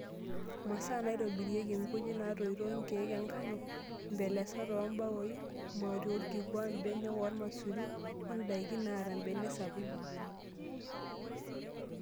Masaa naitobirieki:Ngujit naatoito, nkiek enkano, mbelesat oombaoi, mauti orkikua, mbenek ormaisuri oo ndaikin naata mbenek sapuki.